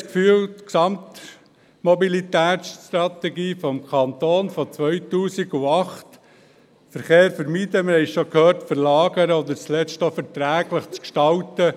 Wir haben den Eindruck, die Gesamtmobilitätsstrategie des Kantons aus dem Jahr 2008 – wir haben es bereits gehört – wolle Verkehr verlagern oder zuletzt auch verträglich gestalten.